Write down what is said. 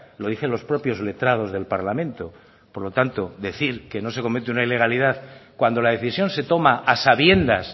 lo dicen los propios letrados del parlamento por lo tanto decir que no se comete una ilegalidad cuando la decisión se toma a sabiendas